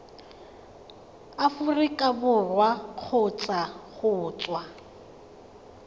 aforika borwa kgotsa go tswa